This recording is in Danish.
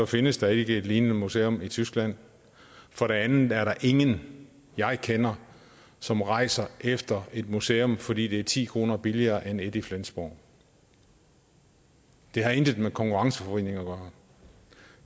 findes der ikke et lignende museum i tyskland for det andet er der ingen jeg kender som rejser efter et museum fordi det er ti kroner billigere end et i flensborg det har intet med konkurrenceforvridning gøre